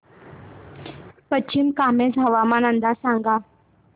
पश्चिम कामेंग हवामान अंदाज सांगा